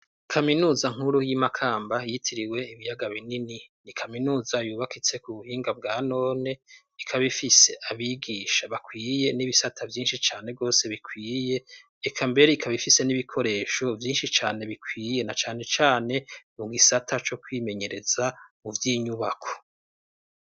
Kaminuza nkuru y'i Makamba yitiriwe Ibiyaga binini, ni kaminuza yubakitse ku buhinga bwa none, ikaba ifise abigisha bakwiye n'ibisata vyinshi cane rwose bikwiye, eka mbere, ikaba ifise n'ibikoresho vyinshi cane bikwiye, na cane cane mu gisata co kwimenyereza mu vy'inyubako.